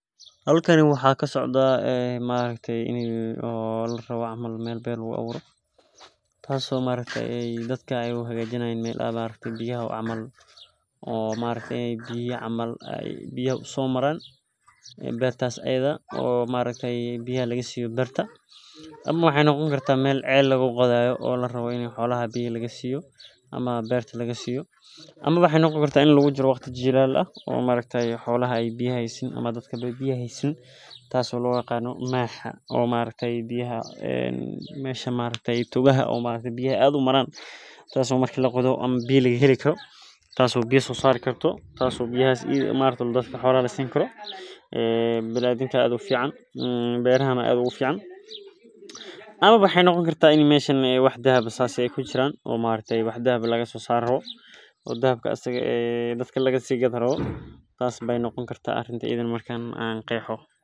Halkani waxaa kasocda ini larawo meel beer lagu aburo tas oo ee dadka u hagajinayan meel biya u aburo oo xolaa biya laga siyo waxee noqoni kartaa ini tas oo lo yaqano maxa ama togaha biyaha aad u maran tas oo biya laga heli karo tas oo biya sosari karto tas oo biyahas iyada eh xolaha lasini karo ee aad ufican amawa maxee noqoni kartaa in dahab laga sosaro oo dahabkas iyada eh dadka laga si gadi rawo tas ayey noqoni karta hada iyadana an qexo.